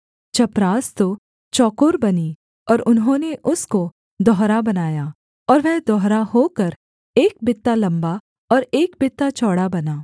चपरास तो चौकोर बनी और उन्होंने उसको दोहरा बनाया और वह दोहरा होकर एक बित्ता लम्बा और एक बित्ता चौड़ा बना